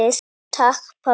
Takk pabbi.